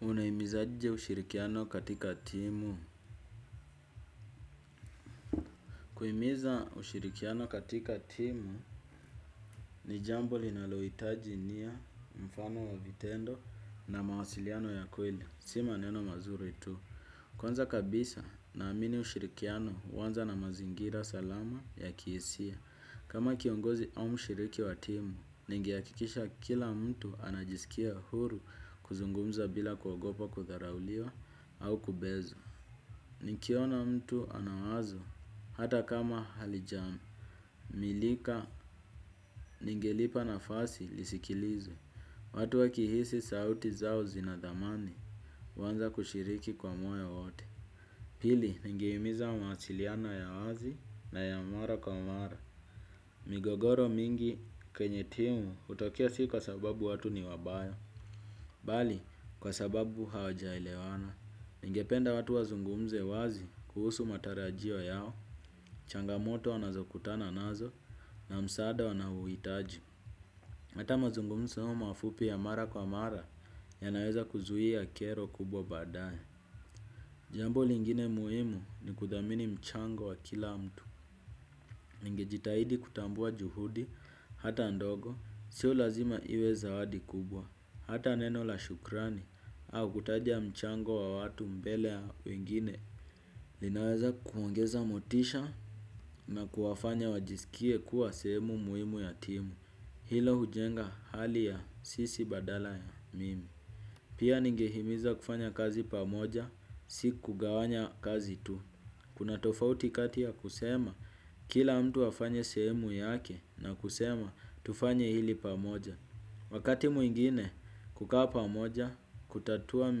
Unahimiza aje ushirikiano katika timu? Kuhimiza ushirikiano katika timu, ni jambo linalohitaji nia, mfano wa vitendo na mawasiliano ya kweli. Si maneno mazuri tu. Kwanza kabisa naamini ushirikiano huanza na mazingira salama ya kihisia. Kama kiongozi au mshiriki wa timu, ningehakikisha kila mtu anajisikia huru kuzungumza bila kuogopa kudharauliwa au kubezwa. Nikiona mtu ana wazo hata kama halijamilika ningelipa nafasi lisikilizwe. Watu wakihisi sauti zao zina dhamani huanza kushiriki kwa moyo wote. Pili ningehimiza masiliano ya wazi na ya mara kwa mara. Migogoro mingi kwenye timu hutokea si kwa sababu watu ni wabaya. Bali kwa sababu hawajaelewana. Ningependa watu wazungumze wazi kuhusu matarajio yao. Changamoto wanazokutana nazo na msaada wanaouhitaji. Hata mazungumzo mafupi ya mara kwa mara yanaweza kuzuia kero kubwa baadae. Jambo lingine muhimu ni kuthamini mchango wa kila mtu. Ningejitahidi kutambua juhudi hata ndogo sio lazima iwe zawadi kubwa. Hata neno la shukrani au kutaja mchango wa watu mbele ya wengine. Linaweza kuongeza motisha na kuwafanya wajisikie kuwa sehemu muhimu ya timu. Hilo hujenga hali ya sisi badala ya mimi. Pia ningehimiza kufanya kazi pamoja, si kugawanya kazi tu kuna tofauti ya kati ya kusema; kila mtu afanye sehemu yake na kusema tufanye hili pamoja. Wakati mwingine, kukaa pamoja, kutatua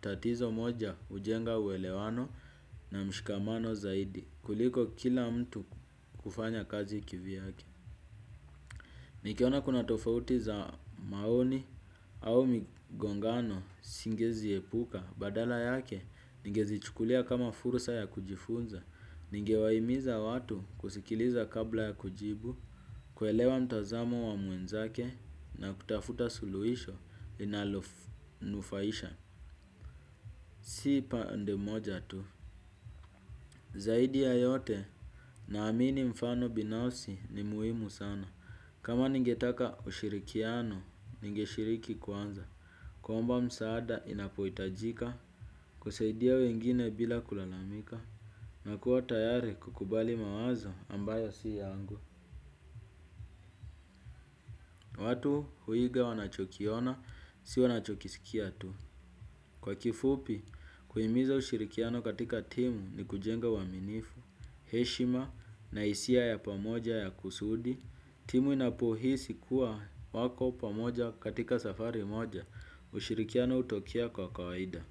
tatizo moja hujenga uelewano na mshikamano zaidi, kuliko kila mtu kufanya kazi kivyake. Nikiona kuna tofauti za maoni au migongano siwezi epuka, badala yake, ningezichukulia kama fursa ya kujifunza. Ningewaihimiza watu kusikiliza kabla ya kujibu, kuelewa mtazamo wa mwenzake na kutafuta suluhisho linalonufaisha. Si pande moja tu zaidi ya yote naamini mfano binafsi ni muhimu sana. Kama ningetaka ushirikiano, ninge shiriki kwanza. Kuomba msaada inapohitajika kusaidia wengine bila kulalamika. Nakuwa tayari kukubali mawazo ambayo si yangu. Watu huiga wanacho kiona, si wanachokisikia tu. Kwa kifupi, kuhimiza ushirikiano katika timu ni kujenga uaminifu. Heshima na hisia ya pamoja ya kusudi. Timu inapohisi kuwa wako pamoja katika safari moja. Ushirikiano hutokea kwa kawaida.